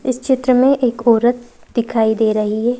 इस चित्र में एक औरत दिखाई दे रही है।